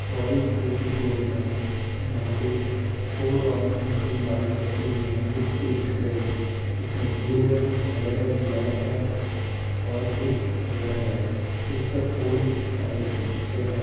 Royal Enfield की showroom है जहाँ पे फॉर रॉयल एनफील्ड बाइक रखी हुई है विथ डिस्क ब्रेक जिसमें एक बालू है रेड है ब्लैक है और एक रेड है यह सब ओल्ड स्टाइल की पे है।